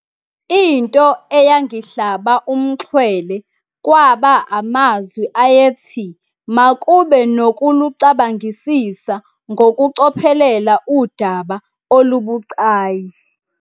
Into eyangihlaba umxhwele kwaba amazwi ayethi makube nokulucabangisisa ngokucophelela udaba olubucayi.